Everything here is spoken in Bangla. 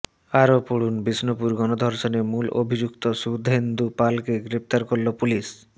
আরও পড়ুন বিষ্ণুপুর গণধর্ষণে মূল অভিযুক্ত সুধেন্দু পালকে গ্রেফতার করল পুলিস